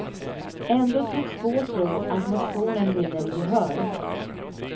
Ändå tycks få tro att motionen vinner gehör.